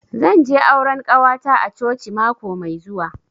Zan je auran ƙawata a coci mako mai zuwa.